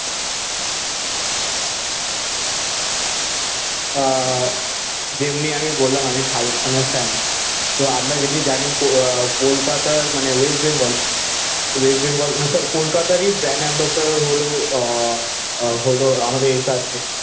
আহ যেমনি আমি বললাম আমি শাহরুখ খানের ফ্যান তো আমরা যেমনি জানি কও কলকাতার মানে ওয়েস্ট বেঙ্গল ওয়েস্ট বেঙ্গল না সরি কলকাতার ই ব্র্যান্ড এম্বাসেডর হলো আহ হলো আমাদের SRK